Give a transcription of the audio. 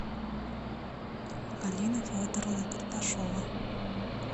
галина федоровна карташова